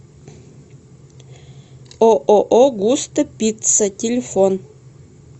ооо густо пицца телефон